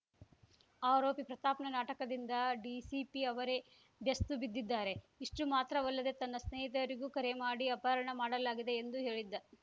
ಆರೋಪಿ ಪ್ರತಾಪ್‌ನ ನಾಟಕದಿಂದ ಡಿಸಿಪಿ ಅವರೇ ಬೆಸ್ತು ಬಿದ್ದಿದ್ದಾರೆ ಇಷ್ಟುಮಾತ್ರವಲ್ಲದೆ ತನ್ನ ಸ್ನೇಹಿತರಿಗೂ ಕರೆ ಮಾಡಿ ಅಪಹರಣ ಮಾಡಲಾಗಿದೆ ಎಂದು ಹೇಳಿದ್ದ